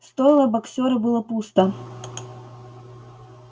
стойло боксёра было пусто